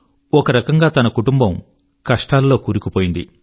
ఒకరకంగా తన కుటుంబం కష్టాల లో కూరుకుపోయింది